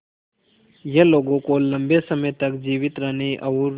यह लोगों को लंबे समय तक जीवित रहने और